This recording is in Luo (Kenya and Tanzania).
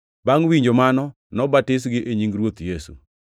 Bangʼ winjo mano, nobatisgi e nying Ruoth Yesu.